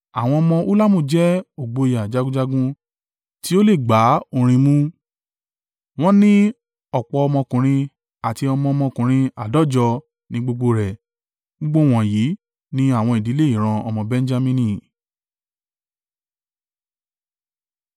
Àwọn ọmọ Ulamu jẹ́ ògboyà jagunjagun tí ó lè gbá orin mú. Wọ́n ní ọ̀pọ̀ ọmọkùnrin àti ọmọ ọmọkùnrin áàdọ́jọ ní gbogbo rẹ̀. Gbogbo wọ̀nyí ni àwọn ìdílé ìran ọmọ Benjamini.